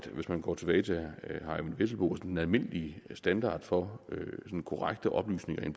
hvis man går tilbage til herre eyvind vesselbo og den almindelige standard for korrekte oplysninger i